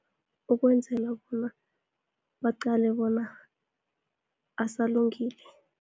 Ukwenzela bona, baqale bona asalungile.